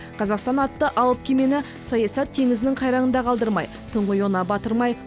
қазақстан атты алып кемені саясат теңізінің қайраңында қалдырмай тұңғиығына батырмай